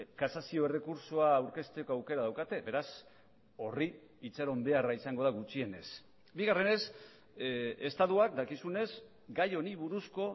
kasazio errekurtsoa aurkezteko aukera daukate beraz horri itxaron beharra izango da gutxienez bigarrenez estatuak dakizunez gai honi buruzko